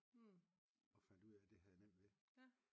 Og fandt ud af at det havde jeg nemt ved